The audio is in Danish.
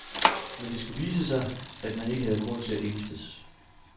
Men det skulle vise sig, at man ikke havde grund til at ængstes.